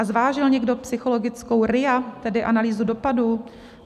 A zvážil někdo psychologickou RIA, tedy analýzu dopadů?